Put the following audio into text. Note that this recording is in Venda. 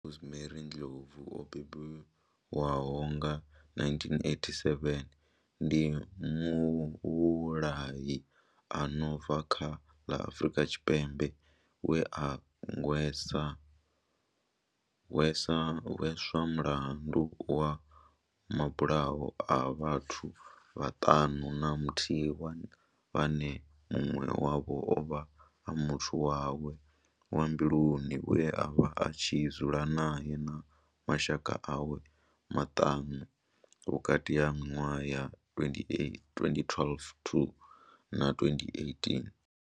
Nomia Rosemary Ndlovu o bebiwaho nga 1978 ndi muvhulahi a no bva kha ḽa Afurika Tshipembe we a hweswa mulandu wa mabulayo a vhathu vhaṱanu na muthihi vhane munwe wavho ovha a muthu wawe wa mbiluni we avha a tshi dzula nae na mashaka awe maṱanu vhukati ha minwaha ya 2012 to na 2018.